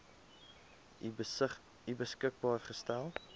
u beskikbaar gestel